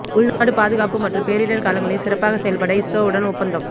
உள்நாட்டு பாதுகாப்பு மற்றும் பேரிடர் காலங்களில் சிறப்பாக செயல்பட இஸ்ரோவுடன் ஒப்பந்தம்